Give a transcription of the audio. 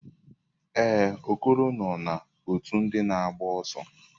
Ee, Okoro nọ na ọtú ndị na agba ọsọ.